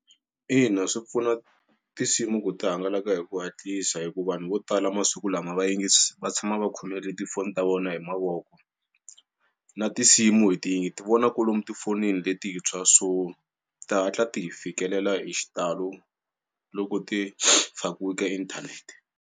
Ina, swi pfuna tinsimu ku ti hangalaka hi ku hatlisa hikuva vanhu vo tala masiku lama va yingisi va tshama va khomelele tifoni ta vona hi mavoko. Na tinsimu hi ti hi ti vona kolomu tifonini letintshwa so ti hatla ti hi fikelela hi xitalo loko ti fakiwa ka inthanete.